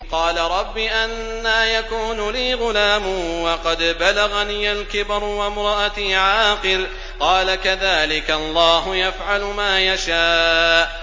قَالَ رَبِّ أَنَّىٰ يَكُونُ لِي غُلَامٌ وَقَدْ بَلَغَنِيَ الْكِبَرُ وَامْرَأَتِي عَاقِرٌ ۖ قَالَ كَذَٰلِكَ اللَّهُ يَفْعَلُ مَا يَشَاءُ